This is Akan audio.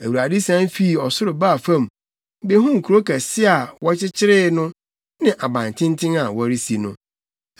Awurade sian fii ɔsoro baa fam, behuu kurow kɛse a wɔrekyekyere no ne abantenten a wɔresi no.